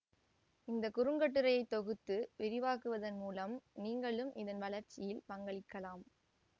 இந்த குறுங்கட்டுரையை தொகுத்து விரிவாக்குவதன் மூலம் நீங்களும் இதன் வளர்ச்சியில் பங்களிக்கலாம்